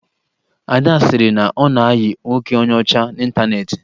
Ada sịrị na ọ na-ayị nwoke onye ọchá n'ịntaneetị